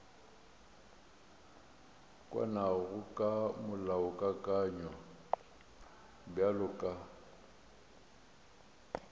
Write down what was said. kwanago ka molaokakanywa bjalo ka